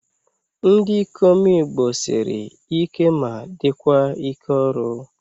Ndị ikom igbo sịrị ike ma dịkwa ike ọrụ